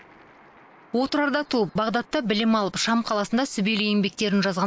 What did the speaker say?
отырарда туып бағдатта білім алып шам қаласында сүбелі еңбектерін жазған